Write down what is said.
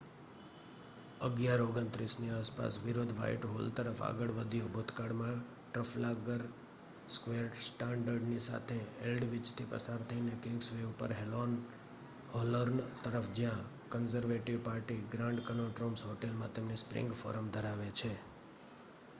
11:29 ની આસપાસ વિરોધ વ્હાઇટહોલ તરફ આગળ વધ્યો ભૂતકાળમાં ટ્રફાલ્ગર સ્ક્વેર સ્ટ્રાન્ડની સાથે એલ્ડવિચથી પસાર થઈને કિંગ્સવે ઉપર હોલોર્ન તરફ જ્યાં Conservative Party Grand Connaught Rooms હોટેલમાં તેમની સ્પ્રિંગ ફોરમ ધરાવે છે